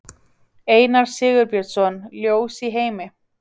Einar Sigurbjörnsson, Ljós í heimi.